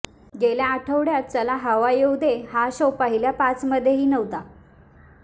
गेल्या आठवड्यात चला हवा येऊ दे हा शो पहिल्या पाचमध्येही नव्हता